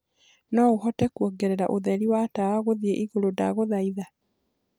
noũhote kuongereraũtherĩ wa tawa guthĩeĩgũrũ ndagũthaĩtha